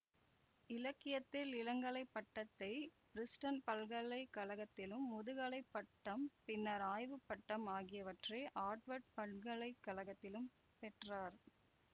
இலக்கியத்தில் இளங்கலை பட்டத்தை பிரிஸ்டன் பல்கலை கழகத்திலும் முதுகலை பட்டம் பின்னர் ஆய்வு பட்டம் ஆகியவற்றை ஆர்ட்வர்டு பல்கலை கழகத்திலும் பெற்றார்